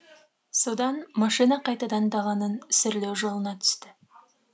содан машина қайтадан даланың сүрлеу жолына түсті